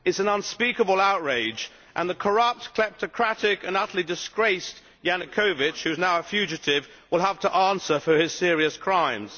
It is an unspeakable outrage and the corrupt, kleptocratic and utterly disgraced Yanukovych, who is now a fugitive, will have to answer for his serious crimes.